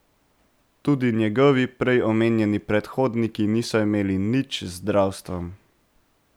Tudi njegovi prej omenjeni predhodniki niso imeli nič z zdravstvom.